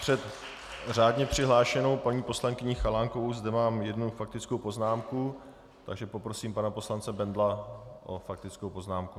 Před řádně přihlášenou paní poslankyní Chalánkovou zde mám jednu faktickou poznámku, takže poprosím pana poslance Bendla o faktickou poznámku.